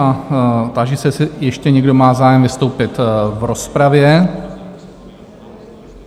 A táži se, jestli ještě někdo má zájem vystoupit v rozpravě?